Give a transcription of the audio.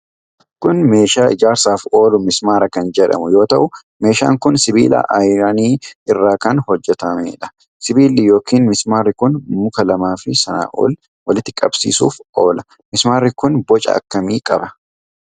Kun meeshaa ijaarsaaf oolu mismaara kan jedhamu yoo ta'u, Meeshaan kun sibiila ayiranii irraa kan hojjatamuudha. Sibiilli yookiin mismaarri kun muka lamaafi sanaa ol walitti qabsiisuuf oola. Mismaarri kun boca akkamii qaba?